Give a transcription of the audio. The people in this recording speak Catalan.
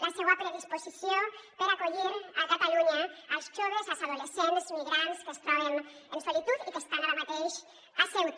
la seua predisposició per acollir a catalunya els joves els adolescents migrants que es troben en solitud i que estan ara mateix a ceuta